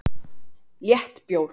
Létt bjór